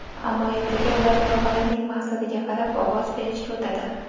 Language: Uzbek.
Ammo ertaga ular loyihalarning maqsadiga qarab ovoz berishga o‘tadi.